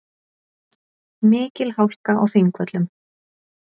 Mikil hálka á Þingvöllum